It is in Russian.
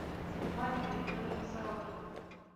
светлане григорьевне сорокиной